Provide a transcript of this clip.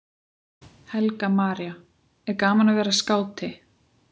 Helga María: Er gaman að vera skáti?